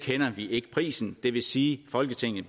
ikke prisen det vil sige at folketinget